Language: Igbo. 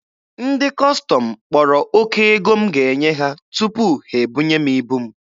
Ndị Kọstọm kpọrọ oke ego m ga-enye ha tupu ha ebunye m ibu m.